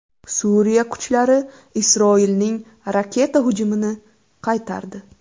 Suriya kuchlari Isroilning raketa hujumini qaytardi.